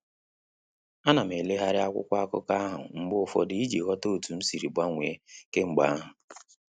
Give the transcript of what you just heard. A nam eleghari akwụkwọ akụkọ ahụ mgbe ụfọdụ iji ghọta otu m sịrị gbanwee kemgbe ahu